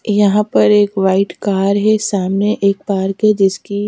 यहाॅं पर एक व्हाईट कार है सामने एक पार्क है जिसकी--